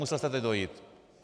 Musel jste teď dojít.